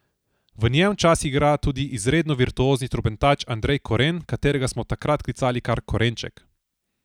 V njem včasih igra tudi izredno virtuozni trobentač Andrej Koren, katerega smo takrat klicali kar Korenček.